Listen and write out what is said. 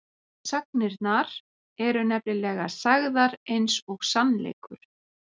Sagnirnar eru nefnilega sagðar eins og sannleikur.